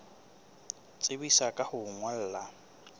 tsebisa ka ho o ngolla